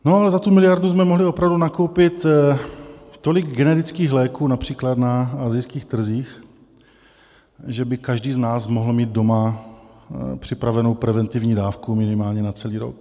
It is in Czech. No, ale za tu miliardu jsme mohli opravdu nakoupit tolik generických léků, například na asijských trzích, že by každý z nás mohl mít doma připravenou preventivní dávku minimálně na celý rok.